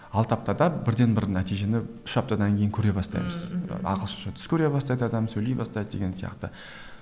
алты аптада бірден бір нәтижені үш аптадан кейін көре бастаймыз ммм мхм ағылшынша түс көре бастайды адам сөйлей бастайды деген сияқты